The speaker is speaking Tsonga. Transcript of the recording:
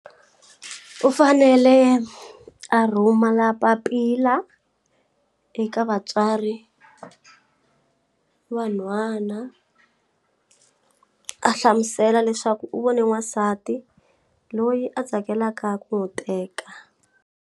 U fanele a rhumela papila eka vatswari va nhwana a hlamusela leswaku u vone n'wansati loyi a tsakelaka ku n'wu teka.